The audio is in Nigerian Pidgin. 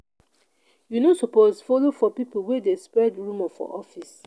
you no suppose folo for pipo wey dey spread rumour for office.